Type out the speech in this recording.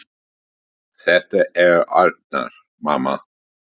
Þetta er Arnar, mamma!